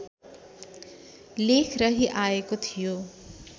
लेख रहिआएको थियो